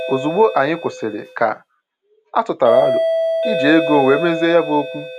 Ozugbo anyị kwụsịrị, ka atụtara aro iji ego wee mezie ya bụ okwu